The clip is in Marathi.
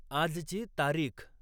आजची तारीख